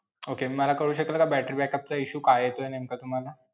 Okay मला कळू शकेल का battery backup चा issue का येतोय नेमका तुम्हाला?